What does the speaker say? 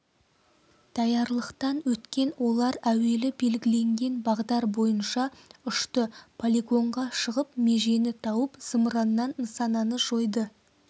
даярлықтан өткен олар әуелі белгіленген бағдар бойынша ұшты полигонға шығып межені тауып зымыраннан нысананы жойды